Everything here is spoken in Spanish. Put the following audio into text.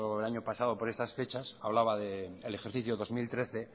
el año pasado por estas fechas hablaba de el ejercicio dos mil trece